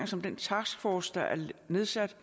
som den taskforce der er nedsat